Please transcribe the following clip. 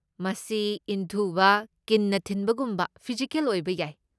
ꯃꯁꯤ ꯏꯟꯊꯨꯕ, ꯀꯤꯟꯅ ꯊꯤꯟꯕꯒꯨꯝꯕ ꯐꯤꯖꯤꯀꯦꯜ ꯑꯣꯏꯕ ꯌꯥꯏ꯫